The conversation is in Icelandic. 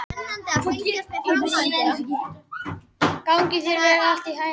Gangi þér allt í haginn, Gná.